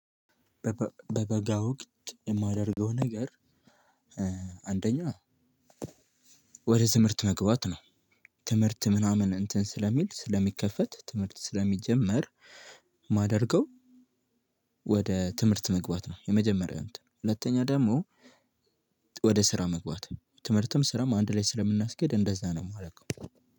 በበጋ ወቅት የማደርገው ነገር አንደኛ ወደ ትምህርት መግባት ነው። ትምህርት ምናምን እንትን ስለሚል ስለሚከፈት ትምህርት ስለሚጀመር። ማደርገው ወደ ትምህርት መግባት ነው። የመጀመሪያው እንትን ሁለተኛ ደግሞ። ወደ ስራ መግባት ነው ትምህርትም ስራም አንድ ላይ ስለምናስኬድ እንደዛ ነው ማረገው።